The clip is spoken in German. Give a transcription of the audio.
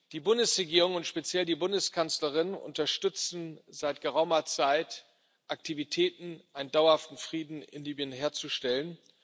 Die Bundesregierung und speziell die Bundeskanzlerin unterstützen seit geraumer Zeit Aktivitäten, einen dauerhaften Frieden in Libyen herzustellen.